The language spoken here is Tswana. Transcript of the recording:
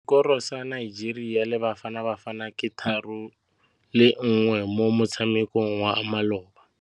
Sekôrô sa Nigeria le Bafanabafana ke 3-1 mo motshamekong wa malôba.